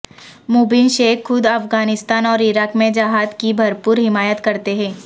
مبین شیخ خود افغانستان اور عراق میں جہاد کی بھرپور حمایت کرتے ہیں